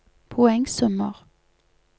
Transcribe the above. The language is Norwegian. poengsummer